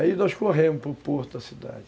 Aí nós corremos para o porto da cidade.